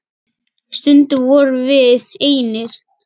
Stundum vorum við einir.